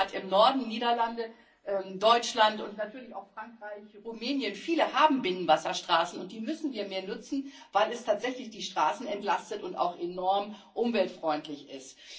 Aber gerade hier im Norden Niederlande, Deutschland und natürlich auch Frankreich und Rumänien haben viele Binnenwasserstraßen, und die müssen wir mehr nutzen, weil es tatsächlich die Straßen entlastet und auch enorm umweltfreundlich ist.